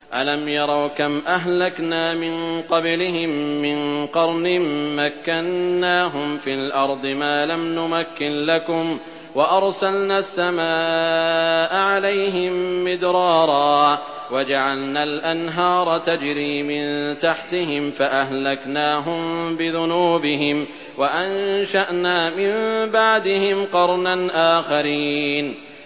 أَلَمْ يَرَوْا كَمْ أَهْلَكْنَا مِن قَبْلِهِم مِّن قَرْنٍ مَّكَّنَّاهُمْ فِي الْأَرْضِ مَا لَمْ نُمَكِّن لَّكُمْ وَأَرْسَلْنَا السَّمَاءَ عَلَيْهِم مِّدْرَارًا وَجَعَلْنَا الْأَنْهَارَ تَجْرِي مِن تَحْتِهِمْ فَأَهْلَكْنَاهُم بِذُنُوبِهِمْ وَأَنشَأْنَا مِن بَعْدِهِمْ قَرْنًا آخَرِينَ